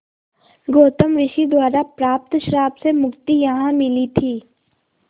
गौतम ऋषि द्वारा प्राप्त श्राप से मुक्ति यहाँ मिली थी